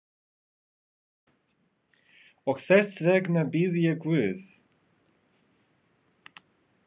Og þess vegna bið ég guð.